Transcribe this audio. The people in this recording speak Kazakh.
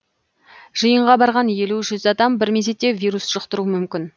жиынға барған елу жүз адам бір мезетте вирус жұқтыруы мүмкін